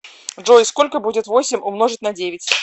джой сколько будет восемь умножить на девять